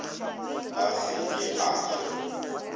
a se ke a hlwe